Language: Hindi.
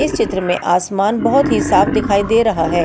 इस चित्र में आसमान बहुत ही साफ दिखाई दे रहा है।